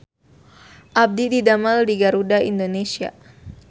Abdi didamel di Garuda Indonesia